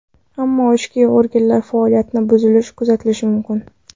Ammo ichki organlari faoliyatida buzilish kuzatilishi mumkin.